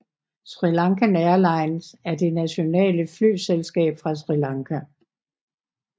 SriLankan Airlines er det nationale flyselskab fra Sri Lanka